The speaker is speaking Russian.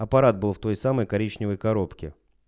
аппарат был в той самой коричневой коробке